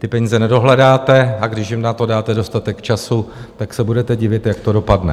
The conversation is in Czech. Ty peníze nedohledáte, a když jim na to dáte dostatek času, tak se budete divit, jak to dopadne.